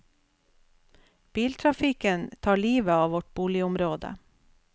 Biltrafikken tar livet av vårt boligområde.